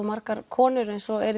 margar konur eins og eru